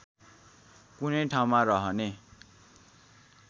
कुनै ठाउँमा रहने